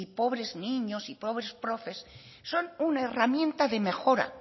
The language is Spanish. pobres niños y pobre profes son una herramienta de mejora